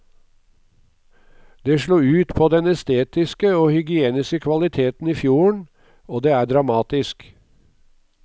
Det slo ut på den estetiske og hygieniske kvaliteten i fjorden, og det er dramatisk.